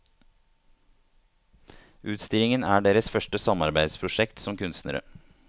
Utstillingen er deres første samarbeidsprosjekt som kunstnere.